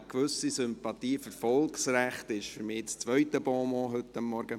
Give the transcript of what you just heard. «Eine gewisse Sympathie für Volksrechte» ist für mich das zweite Bonmot des heutigen Morgens.